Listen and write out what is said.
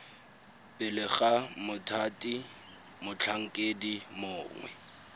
pele ga mothati motlhankedi mongwe